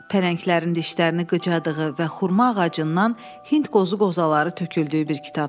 Pələnglərin dişlərini qıcaddığı və xurma ağacından hindqozu qozaları töküldüyü bir kitab.